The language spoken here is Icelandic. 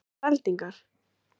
Gísli Óskarsson: Sástu eldingar?